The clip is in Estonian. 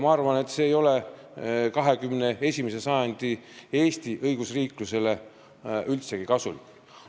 Ma arvan, et see ei ole 21. sajandi Eesti õigusriiklusele üldsegi kasulik.